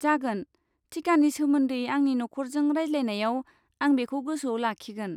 जागोन, टिकानि सोमोन्दै आंनि नखरजों रायज्लायनायाव आं बेखौ गोसोआव लाखिगोन।